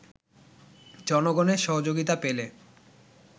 জনগণের সহযোগিতা পেলে